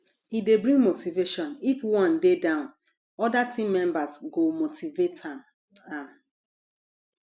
e de bring motivation if one de down other team members go motivate am am